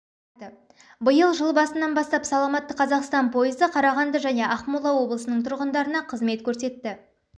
тұрады биыл жыл басынан бастап саламатты қазақстан пойызы қарағанды және ақмола облысының тұрғындарына қызмет көрсетті